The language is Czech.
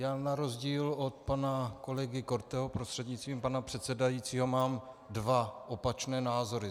Já na rozdíl od pana kolegy Korteho, prostřednictvím pana předsedajícího, mám dva opačné názory.